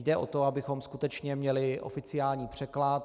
Jde o to, abychom skutečně měli oficiální překlad.